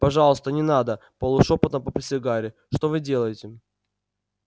пожалуйста не надо полушёпотом попросил гарри что вы делаете